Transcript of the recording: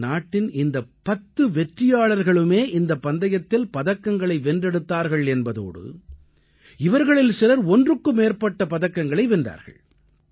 நமது நாட்டின் இந்த பத்து வெற்றியாளர்களுமே இந்தப் பந்தயத்தில் பதக்கங்களை வென்றெடுத்தார்கள் என்பதோடு இவர்களில் சிலர் ஒன்றுக்கு மேற்பட்ட பதக்கங்களையும் வென்றார்கள்